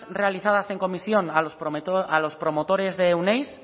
realizadas en comisión a los promotores de euneiz